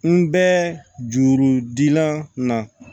N bɛ juru dilan